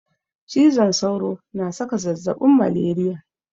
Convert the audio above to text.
Cizon sauro na saka zazzabin maleriya.